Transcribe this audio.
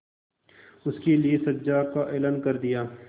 उसके लिए सजा का ऐलान कर दिया